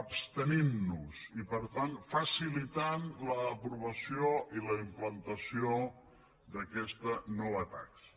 abstenint nos i per tant facilitant l’aprovació i la implantació d’aquesta nova taxa